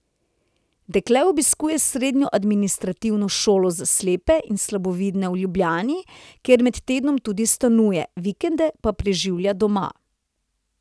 Dekle obiskuje srednjo administrativno šolo za slepe in slabovidne v Ljubljani, kjer med tednom tudi stanuje, vikende pa preživlja doma.